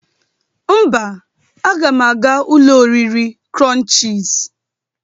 Mba, aga m aga ụlọ oriri krụnchịz.